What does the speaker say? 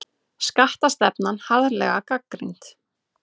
Skattastefnan harðlega gagnrýnd